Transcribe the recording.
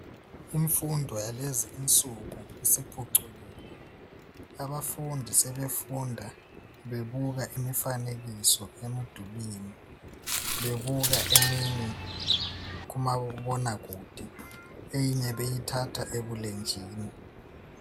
Imfundo yalezi insuku isiphucukile. Abafundi sebefunda bebuka imifanekiso emdulini, bebuka eminye kumabonakude, eminye beyithatha ebulenjini.